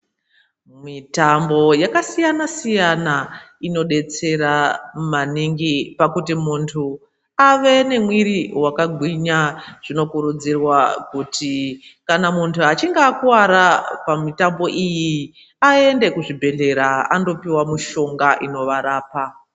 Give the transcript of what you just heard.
Mitambo yakasiyana siyana inodetsera maningi pakuti muntu ave nemwiri wakagwinya zvinokurudzirwa kuti kana muntu achinhe akuwara pamutambo iyi aende kuzviibhedhleya andopiwa mishonga inovarapa.